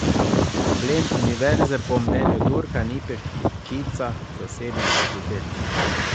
Problem univerze po mnenju Turka ni peščica zasebnih fakultet.